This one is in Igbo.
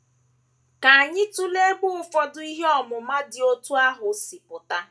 Ka anyị tụlee ebe ụfọdụ ihe ọmụma dị otú ahụ si apụta.